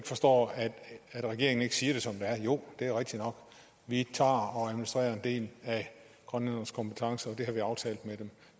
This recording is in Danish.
forstår at regeringen ikke siger det som det er at jo det er rigtigt nok vi tager og administrerer en del af grønlændernes kompetence og det har vi aftalt med dem